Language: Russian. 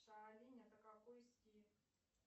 шаолинь это какой стиль